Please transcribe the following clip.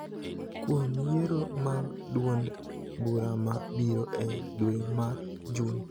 kuom yiero mag duond bura ma biro e dwe mar Jun.